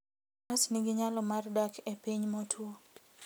Faras nigi nyalo mar dak e piny motwo.